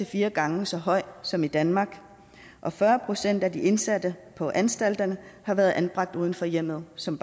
fire gange så høj som i danmark og fyrre procent af de indsatte på anstalterne har været anbragt uden for hjemmet som